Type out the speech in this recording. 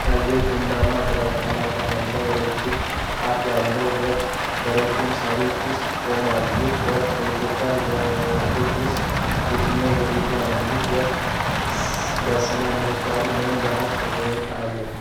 የሚታየው ቡናማና ግራጫ ላባ ያለው ረጅም አፍ ያለው ወፍ በረጃጅም ሣሮች ውስጥ ቆሟል። ይህ ወፍ በኢትዮጵያ ወፎች ውስጥ የትኛው ዝርያ ነው? ይህ ወፍ ለሥነ-ምህዳሩ ምን ያህል ጠቀሜታ አለው?